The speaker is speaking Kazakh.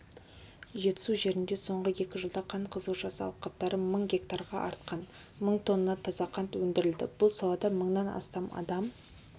жетісу жерінде соңғы екі жылда қант қызылшасы алқаптары мың гектарға артқан мың тонна таза қант өндірілді бұл салада мыңнан астам адам